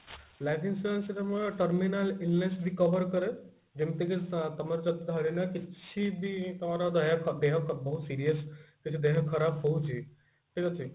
life insurance ଆମର terminal ill ness ବି cover କରେ ଯେମିତିକି ତମର ଯଦି ଧରି ନିଅ କିଛି ବି ତମର ଦେହ ଦେହ ହାତ ବହୁତ serious କିଛି ଦେହ ଖରାପ ହଉଛି ଠିକ ଅଛି